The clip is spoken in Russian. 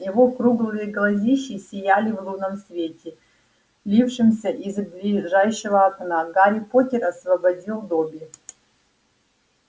его круглые глазищи сияли в лунном свете лившемся из ближайшего окна гарри поттер освободил добби